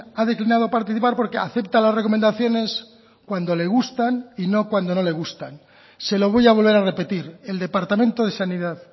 ha declinado participar porque acepta las recomendaciones cuando le gustan y no cuando no le gustan se lo voy a volver a repetir el departamento de sanidad